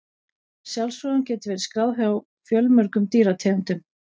Sjálfsfróun hefur verið skráð hjá fjölmörgum dýrategundum.